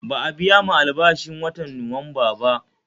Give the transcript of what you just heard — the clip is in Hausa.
Ba'a biyamu albashin watan Nuwamba ba